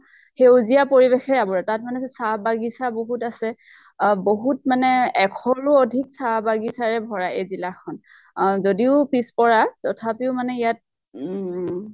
সেউজীয়া পৰিবেশে আৱৰা, তাত মানে চাহ বাগিছা বহুত আছে । আহ বহুত মানে এশৰো অধিক চাহ বাগিছাৰে ভৰা এই জিলা খন। আহ যদিও পিছ পৰা, তথাপিও মানে ইয়াত ঊম